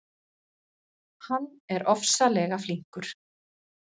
Hann er ofsalega flinkur.